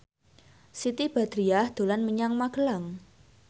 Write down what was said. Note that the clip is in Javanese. Siti Badriah dolan menyang Magelang